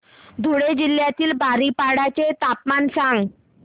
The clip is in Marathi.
धुळे जिल्ह्यातील बारीपाडा चे तापमान सांग